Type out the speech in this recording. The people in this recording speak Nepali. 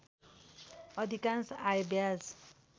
अधिकांश आय ब्याज